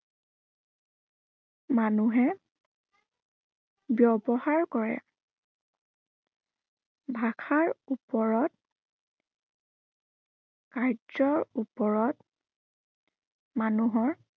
মানুহে ব্য়ৱহাৰ কৰে। ভাষাৰ ওপৰত কাৰ্যৰ ওপৰত মানুহৰ